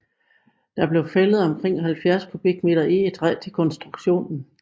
Der blev fældet omkring 70 m3 egetræ til konstruktionen